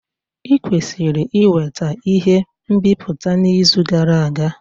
I kwesiri iweta ihe nbipute n'izu gara aga.